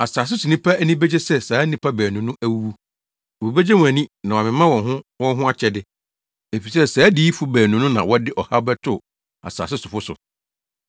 Asase so nnipa ani begye sɛ saa nnipa baanu no awuwu. Wobegye wɔn ani na wɔamema wɔn ho wɔn ho akyɛde, efisɛ saa adiyifo baanu no na wɔde ɔhaw bɛtoo asase sofo so.